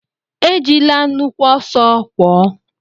Ejila nnukwu ọsọ kwọọ!